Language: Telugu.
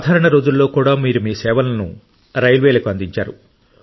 సాధారణ రోజుల్లో కూడా మీరు మీ సేవలను రైల్వేలకు అందించారు